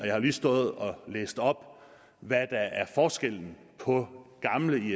har lige stået og læst op hvad der er forskellen på gamle